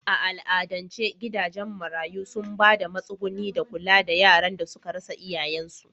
A al'adance gidajen marayu sun ba da matsuguni da kula da yaran da suka rasa iyayensu.